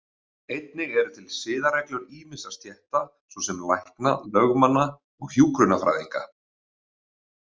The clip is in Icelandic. Einnig eru til siðareglur ýmissa stétta, svo sem lækna, lögmanna og hjúkrunarfræðinga.